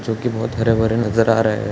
जो की बहुत हरा भरा नज़र आ रहा है |